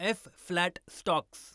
F. Flat stocks